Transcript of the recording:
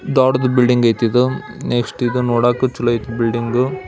ದೊಡ್ಡದ್ ಬಿಲ್ಡಿಂಗ್ ಅಯ್ತಿ ಇದು ನೆಕ್ಸ್ಟ್ ಇದು ನೋಡಕೂ ಚಲೋ ಅಯ್ತಿ ಬಿಲ್ಡಿಂಗ್ .